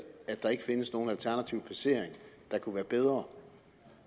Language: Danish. at der ikke findes nogen alternativ placering der kunne være bedre